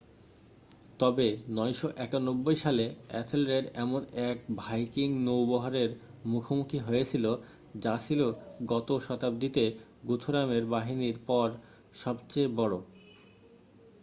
তবে 991 সালে এথেলরেড এমন এক ভাইকিং নৌবহরের মুখোমুখি হয়েছিল যা ছিল গত শতাব্দীতে গুথরামের বাহিনীর পর সবচেয়ে বড়